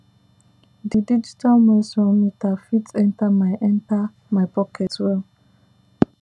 di digital moisture meter fit enter my enter my pocket well